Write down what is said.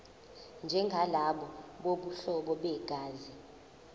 njengalabo bobuhlobo begazi